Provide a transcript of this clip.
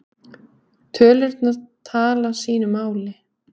Tölurnar tala sínu máli.